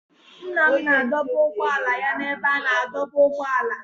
Nna m na-adọba ụgbọala ya n'ebe a na-adọba ụgbọala.